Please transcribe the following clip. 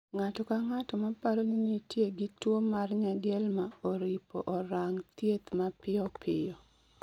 Ng'ato ka ng'ato ma paro ni nitie gi tuwo mar nyadielma oripo orang thieth ma pio pio